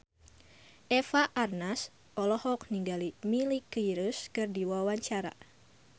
Eva Arnaz olohok ningali Miley Cyrus keur diwawancara